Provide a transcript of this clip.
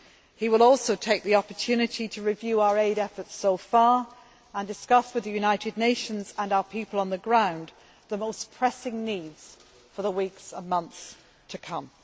He will also take the opportunity to review our aid efforts so far and discuss with the United Nations and our people on the ground the most pressing needs for the weeks and months to come.